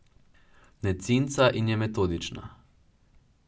Ne cinca in je metodična.